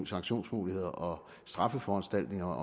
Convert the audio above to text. sanktionsmuligheder og straffeforanstaltninger